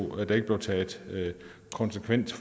der ikke blev taget konsekvens